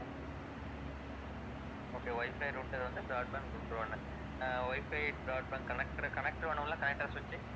okay wifi router ஒண்ணு broadband router ஒண்ணு ஆஹ் wifi broadband connector, connector வேணும்ல? connector switch உ